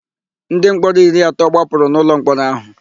Ndịmkpọrọ iri atọ gbapụrụ n'ụlọmkpọrọ áhụ̀.